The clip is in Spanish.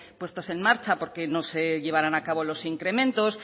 en marcha porque no se llevarán a cabo los incremento